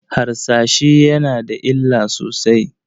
Harsashi yana da illa sosai.